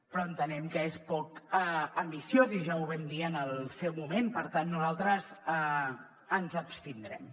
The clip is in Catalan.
però entenem que és poc ambiciós i ja ho vam dir en el seu moment per tant nosaltres ens abstindrem